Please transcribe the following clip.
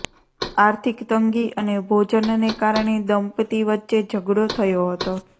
આર્થિક તંગી અને ભોજનને કારણે દંપતિ વચ્ચે ઝગડો થયો હતો